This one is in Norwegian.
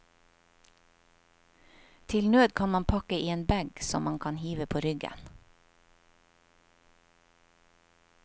Til nød kan man pakke i en bag som man kan hive på ryggen.